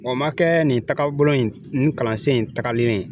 O m'a kɛ nin tagabolo in nin kalansen in tagalen ye